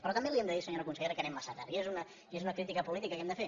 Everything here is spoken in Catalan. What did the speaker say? però també li hem de dir senyora consellera que anem massa tard i és una crítica política que hem de fer